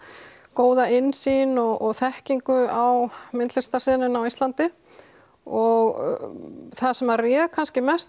góða innsýn og þekkingu á myndlistarsenunni á Íslandi og það sem réð kannski mest